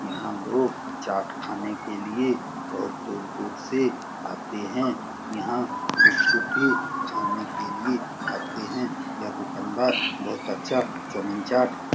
यहाँ लोग चाट खाने के लिए बोहोत दूर-दूर से आते है। यहाँ गुपचुपे खाने के लिए आते है। यह दुकान बोहोत अच्छा चौमिन चाट --